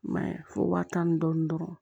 I m'a ye fo waa tan ni dɔɔnin dɔrɔn